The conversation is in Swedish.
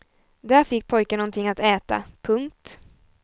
Där fick pojken någonting att äta. punkt